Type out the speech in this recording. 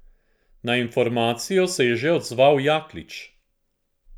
Na informacijo se je že odzval Jaklič.